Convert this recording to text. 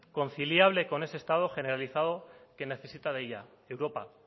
conciliable con ese estado generalizado que necesita de ella europa